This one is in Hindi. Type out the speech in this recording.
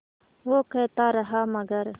वो कहता रहा मगर